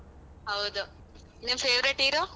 ಹೌದು ನಿಮ್ favourite hero ?